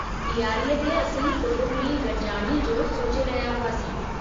ॾियारीअ ते असीं कुटुंबी गॾिजाणीअ जो सोचे रहिया हुआसीं।